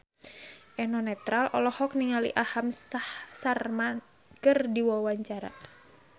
Eno Netral olohok ningali Aham Sharma keur diwawancara